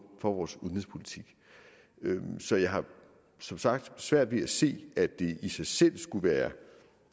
for vores udenrigspolitik så jeg har som sagt svært ved at se at det i sig selv skulle være